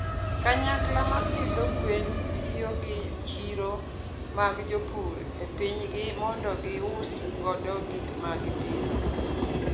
Kanyakla ma pidho gwen tiyo gi chiro mag jopur e pinygi mondo gius godo gik ma gipidho.